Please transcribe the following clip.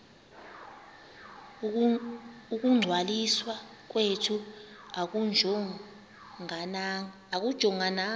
ukungcwaliswa kwethu akujongananga